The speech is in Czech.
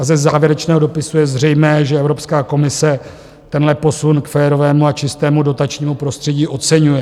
A ze závěrečného dopisu je zřejmé, že Evropská komise tenhle posun k férovému a čistému dotačnímu prostředí oceňuje.